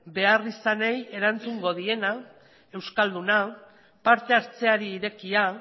beharrizanei erantzungo diena euskalduna parte hartzeari irekia